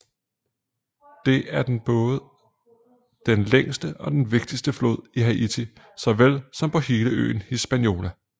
Det er den både den længste og den vigtigste flod i Haiti såvel som på hele øen Hispaniola